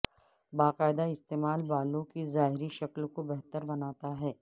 باقاعدہ استعمال بالوں کی ظاہری شکل کو بہتر بناتا ہے